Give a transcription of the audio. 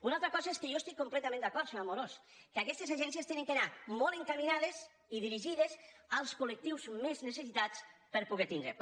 una altra cosa és que jo hi estic completament d’acord senyor amorós que aquestes agències han d’anar molt encaminades i dirigides als col·lectius més necessitats de poder tindre’n